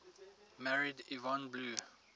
married yvonne blue